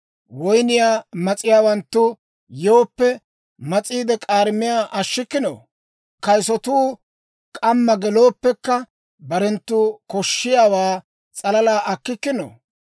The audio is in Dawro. Woynniyaa mas'iyaawanttu yooppe, mas'iidde k'aarimiyaa ashshikkino? Kayisatuu k'amma gelooppekka, barentta koshshiyaawaa s'alala akkikkino?